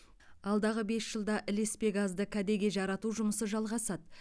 алдағы бес жылда ілеспе газды кәдеге жарату жұмысы жалғасады